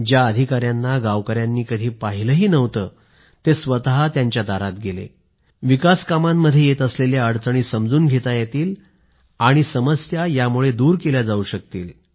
ज्या अधिकाऱ्यांना गावकऱ्यांनी कधी पाहिलंही नव्हतं ते स्वत त्यांच्या दारात गेले ज्यामुळे विकासकामांमध्ये येत असलेल्या अडचणी समजून घेता येतील समस्या दूर केल्या जाऊ शकतील